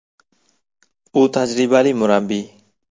U tajribali murabbiy.